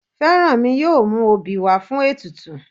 Fẹ́rànmi yóò mú obì wá fún ètùtù